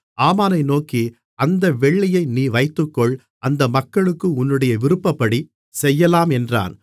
ஆமானை நோக்கி அந்த வெள்ளியை நீ வைத்துக்கொள் அந்த மக்களுக்கு உன்னுடைய விருப்பப்படி செய்யலாம் என்றான்